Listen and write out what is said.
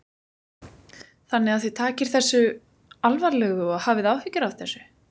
Þannig að þið takið þessu alvarlegu og hafið áhyggjur af þessu?